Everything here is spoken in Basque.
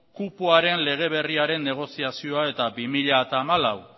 kupoaren lege berriaren negoziazioa eta bi mila hamalau